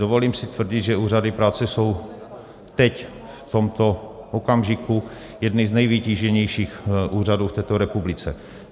Dovolím si tvrdit, že úřady práce jsou teď v tomto okamžiku jedny z nejvytíženějších úřadů v této republice.